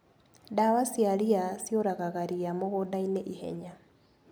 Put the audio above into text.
Ndawa cia ria ciũragaga ria mũgundainĩ ihenya.